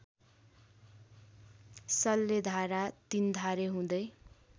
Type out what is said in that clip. सल्लेधारा तिन्धारे हुँदै